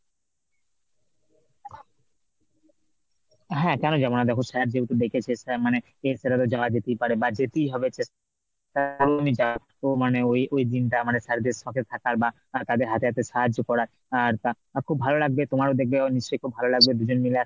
হ্যাঁ কেন যাব না দেখো sir যেহেতু ডেকেছে sir মানে অ্যাঁ সেটা তো যাওয়া যেতেই পারে বা যেতেই হবে মানে ওই ওই দিনটা মানে sir দের সাথে থাকার বা তাদের হাতে হাতে সাহায্য করার আর তা আর খুব ভালো লাগবে তোমারও দেখবে নিশ্চয়ই খুব ভালো লাগবে দুজন মিলে